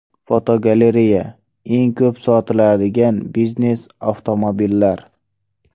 Fotogalereya: Eng ko‘p sotiladigan biznes avtomobillar.